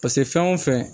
Paseke fɛn o fɛn